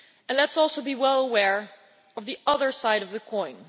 Let us also be well aware of the other side of the coin.